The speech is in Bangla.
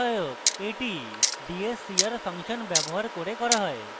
এটি dscr ফাংশন ব্যবহার করে করা হয়